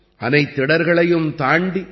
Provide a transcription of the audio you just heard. அனைத்திடர்களையும் தாண்டி